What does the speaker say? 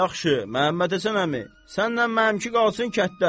Yaxşı, Məmmədhəsən əmi, sənlə mənimki qalsın kətdə.